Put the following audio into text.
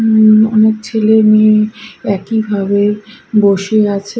অনেক ছেলে মেয়ে একইভাবে বসে আছে।